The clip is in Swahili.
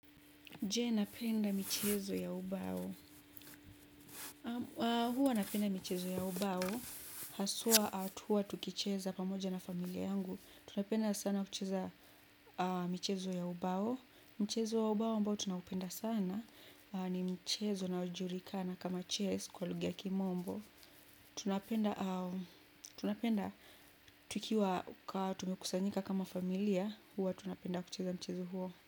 Je, napenda michezo ya ubao? Hua napenda michezo ya ubao. Haswa tukiwa tukicheza pamoja na familia yangu tunapenda sana kucheza michezo ya ubao. Mchezo ya ubao ambao tunaupenda sana. Ni michezo inayojulikana kama chess kwa lugha ya kimombo. Tunapenda tukiwa tumekusanyika kama familia. Hua tunapenda kucheza mchezo huo.